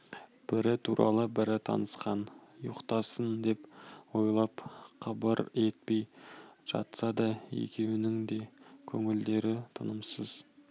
бірі туралы бірі тынықсын ұйықтасын деп ойлап қыбыр етпей жатса да екеуінің де көңілдері тынымсыз